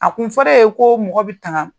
A kun fɔr'e ye ko mɔgɔ bi tanga